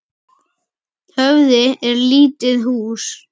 Höfði er lítið hús.